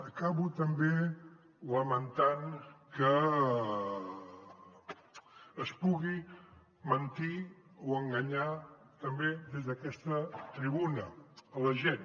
acabo també lamentant que es pugui mentir o enganyar també des d’aquesta tribuna a la gent